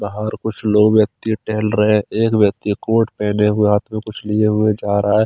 बहार कुछ लोग व्यक्ति टेहल रहे थे एक व्यक्ति कोट पहने हुए हाथ में कुछ लिए हुए जा रहा है।